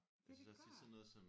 Ja det gør det